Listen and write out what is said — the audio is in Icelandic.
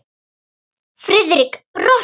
Friðrik brosti.